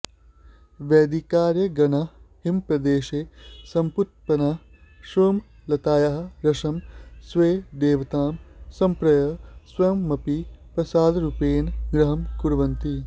वैदिकार्यगणाः हिमप्रदेशे समुत्पन्ना सोमलतायाः रसं स्वेष्टदेवतां समर्प्य स्वयमपि प्रसादरूपेण ग्रहणं कुर्वन्ति